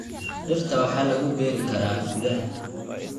Dhirta waxaa lagu beeri karaa gudaha.